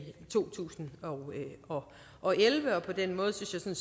to tusind og og elleve på den måde synes jeg